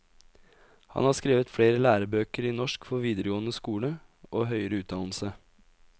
Han har skrevet flere lærebøker i norsk for videregående skole og høyere utdannelse.